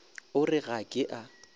o re ga ke a